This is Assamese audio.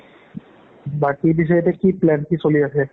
বাকি পিছে এতিয়া কি plan? কি চলি আছে?